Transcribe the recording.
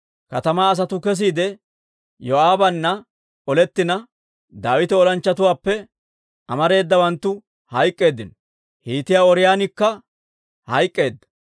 Katamaa asatuu kesiide Yoo'aabana olettina, Daawita olanchchatuwaappe amaratuu hayk'k'eeddino; Hiitiyaa Ooriyoonikka hayk'k'eedda.